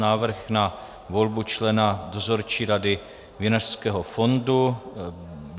Návrh na volbu člena Dozorčí rady Vinařského fondu